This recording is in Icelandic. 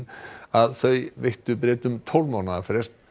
að þau veittu Bretum tólf mánaða frest